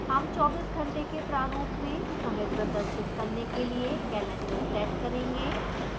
हम 24 घंटे के प्रारूप में समय प्रदर्शित करने के लिए calendar set करेंगे